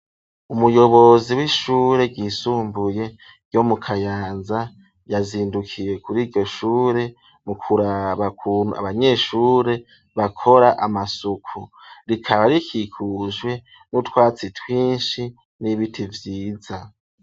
Umuyobozi w'ishure ryisumbuye ryo mu kayanza yazindukiye kuri iryo shure mu kuraba ukuntu abanyeshure bakora amasuku. Rikaba rikikujwe n'utwatsi twinshi n'ibiti vyiza.